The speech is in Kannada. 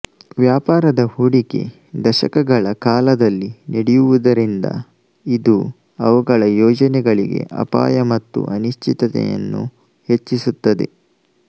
ವ್ಯಾಪಾರದ ಹೂಡಿಕೆ ದಶಕಗಳ ಕಾಲದಲ್ಲಿ ನಡೆಯುವುದರಿಂದ ಇದು ಅವುಗಳ ಯೋಜನೆಗಳಿಗೆ ಅಪಾಯ ಮತ್ತು ಅನಿಶ್ಚಿತತೆಯನ್ನು ಹೆಚ್ಚಿಸುತ್ತದೆ